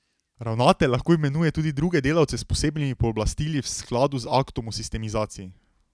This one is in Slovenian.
Ravnatelj lahko imenuje tudi druge delavce s posebnimi pooblastili v skladu z aktom o sistemizaciji.